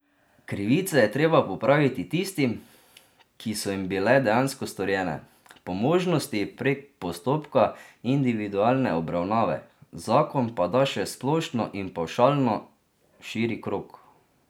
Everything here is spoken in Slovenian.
Krivice je treba popraviti tistim, ki so jim bile dejansko storjene, po možnosti prek postopka individualne obravnave, zakon pa da še splošno in pavšalno širi krog.